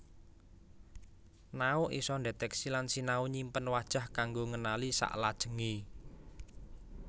Nao isa ndetèksi lan sinau nyimpen wajah kanggo ngenali saklajengé